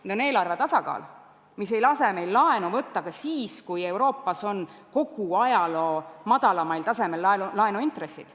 Esiteks, eelarve tasakaalu nõue, mis ei lase meil laenu võtta ka siis, kui Euroopas on kogu ajaloo madalaimal tasemel laenuintressid.